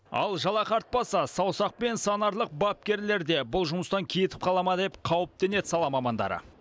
ал жалақы артпаса саусақпен санарлық бапкерлер де бұл жұмыстан кетіп қала ма деп қауіптенеді сала мамандары